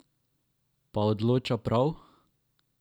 Pa odloča prav?